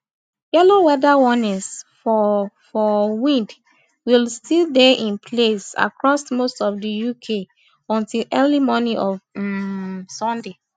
yellow weather warnings for for wind will still dey in place across most of di uk until early morning on um sunday